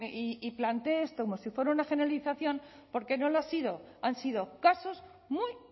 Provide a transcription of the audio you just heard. y plantee esto como si fuera una generalización porque no lo ha sido han sido casos muy